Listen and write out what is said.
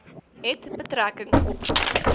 het betrekking op